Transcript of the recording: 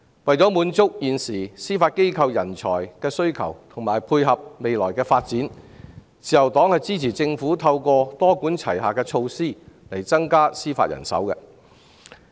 為滿足司法機構的人才需求及配合未來發展，自由黨支持政府多管齊下，增加司法人手。